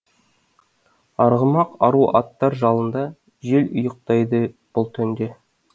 арғымақ ару аттар жалында жел ұйықтайды бұл түнде